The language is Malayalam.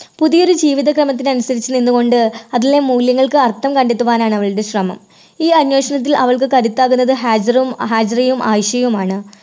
പുതിയ ഒരു ജീവിത കാലത്തിന് അനുസരിച്ച് നിന്നുകൊണ്ട് അതിലെ മൂല്യങ്ങൾക്ക് അർത്ഥം കണ്ടെത്തുവാനാണ് അവളുടെ ശ്രമം. ഈ അന്വേഷണത്തിൽ അവൾക്ക് കരുത്താകുന്നത് ഹാജിറും. ഹാജിറയും ആയിഷയുമാണ്.